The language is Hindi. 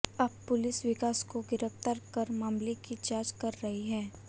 अब पुलिस विकास को गिरफ्तार कर मामले की जांच कर रही है